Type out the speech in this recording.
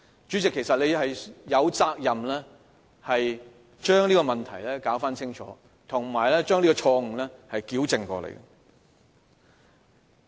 主席，其實你有責任要將這問題弄清楚，以及糾正這錯誤。